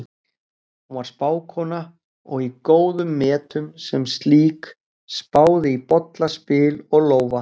Hún var spákona og í góðum metum sem slík, spáði í bolla, spil og lófa.